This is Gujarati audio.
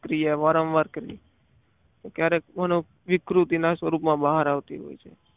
ક્રિયા વારંવાર કરવી ક્યારેક મનોવિકૃતિના સ્વરૂપમાં બહાર આવતી હોય છે.